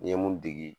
N ye mun degi